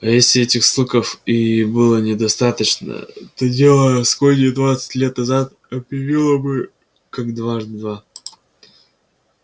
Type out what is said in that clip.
а если этих слухов и было недостаточно то дело аскони двадцать лет назад объяснило все как дважды два